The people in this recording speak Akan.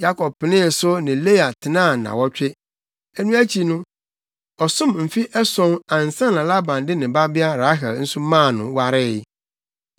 Yakob penee so ne Lea tenaa nnaawɔtwe. Ɛno akyi no, ɔsom mfe ason ansa na Laban de ne babea Rahel nso maa no waree.